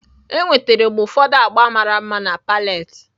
Enwetara m ụfọdụ agba mara mma na pallet